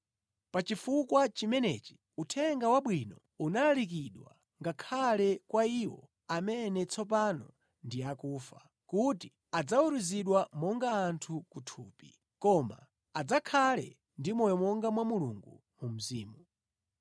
Pa chifukwa chimenechi, Uthenga Wabwino unalalikidwa ngakhale kwa iwo amene tsopano ndi akufa, kuti adzaweruzidwe monga anthu ku thupi, koma adzakhale ndi moyo monga mwa Mulungu mu mzimu.